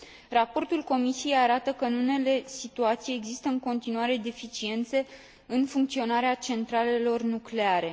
Raportul Comisiei arată că, în unele situații, există în continuare deficiențe în funcționarea centralelor nucleare.